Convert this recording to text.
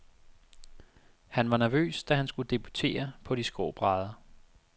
Han var nervøs, da han skulle debutere på de skrå brædder.